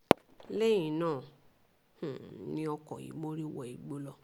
lẹ́yìn náà um ni ọkọ̀ yìí mórí wọ igbó lọ